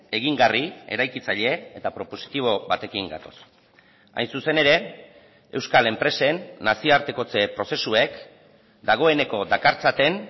egingarri eraikitzaile eta propositibo batekin gatoz hain zuzen ere euskal enpresen nazioartekotze prozesuek dagoeneko dakartzaten